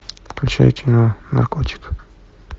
включай кино наркотик